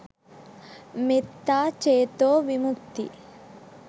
මෙත්තා චේතෝ විමුක්ති